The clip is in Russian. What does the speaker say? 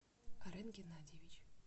арен геннадьевич